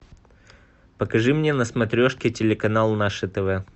покажи мне на смотрешке телеканал наше тв